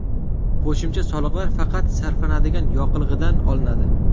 Qo‘shimcha soliqlar faqat sarflanadigan yoqilg‘idan olinadi.